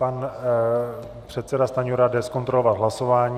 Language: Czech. Pan předseda Stanjura jde zkontrolovat hlasování.